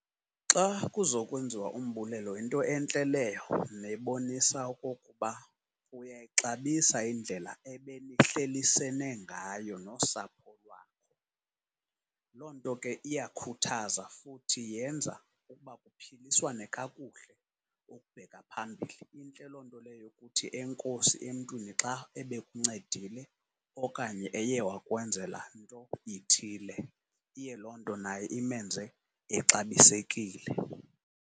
Xa kuza kwenziwa umbulelo yinto entle leyo nebonisa okokuba uyayixabisa indlela ebenihlelisene ngayo nosapho lwakho. Loo nto ke iyakhuthaza futhi yenza ukuba kuphiliswane kakuhle ukubheka phambili. Intle loo nto leyo yokuthi enkosi emntwini xa ebekuncedile okanye eye wakwenzela nto ithile, iye loo nto naye imenze exabisekile.